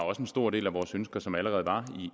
også en stor del af vores ønsker som allerede var